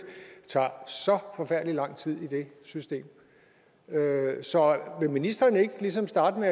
tager så forfærdelig lang tid i det system så vil ministeren ikke ligesom starte med